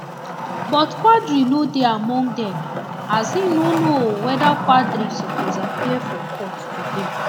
but quadri no dey among dem as im no know weda quadri suppose appear for court today